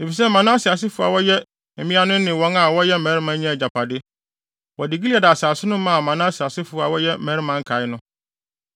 efisɛ Manase asefo a wɔyɛ mmea no ne wɔn a wɔyɛ mmarima nyaa agyapade. (Wɔde Gilead asase no maa Manase asefo a wɔyɛ mmarima nkae no).